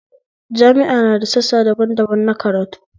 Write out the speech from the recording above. Jami'a na da sassa daban daban na karatu